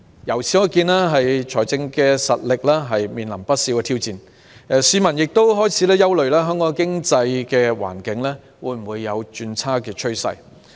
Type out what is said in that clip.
由此可見，政府財政實力面臨不少挑戰，市民亦開始憂慮香港的經濟環境有否轉差的趨勢。